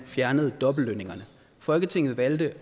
fjernede dobbeltlønningerne folketinget valgte